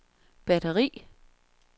batteri